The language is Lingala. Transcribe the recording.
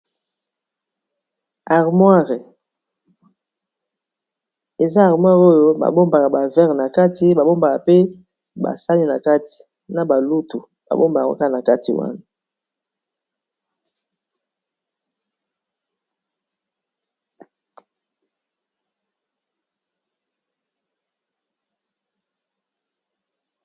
Armoire eza armoire oyo ba bombaka ba verre na kati ba bombaka pe ba sani na kati na ba lutu ba bombaka yango Kaka na kati wana.